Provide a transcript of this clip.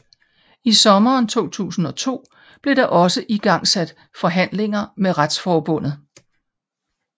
I sommeren 2002 blev der også igangsat forhandlinger med Retsforbundet